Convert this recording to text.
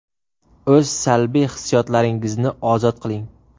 O‘z salbiy hissiyotlaringizni ozod qiling.